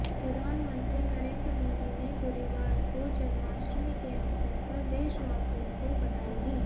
प्रधानमंत्री नरेंद्र मोदी ने गुरुवार को जन्माष्टमी के अवसर पर देशवासियों को बधाई दी